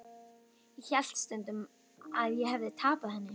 Ég hélt um stund að ég hefði tapað henni.